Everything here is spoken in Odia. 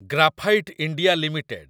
graphite India limited